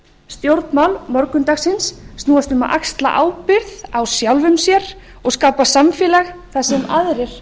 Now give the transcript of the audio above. stjórnmál morgundagsins snúast um að axla ábyrgð á sjálfum sér og skapa samfélag þar sem aðrir